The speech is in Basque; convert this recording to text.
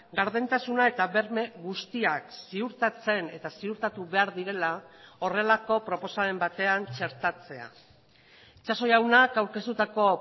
gardentasuna eta berme guztiak ziurtatzen eta ziurtatu behar direla horrelako proposamen batean txertatzea itxaso jaunak aurkeztutako